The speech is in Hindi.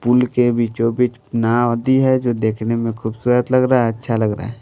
पुल के बीचोंबीच नाव दी है जो देखने में खूबसूरत लग रहा है अच्छा लग रहा है।